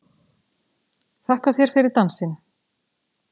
Þakka þér fyrir dansinn!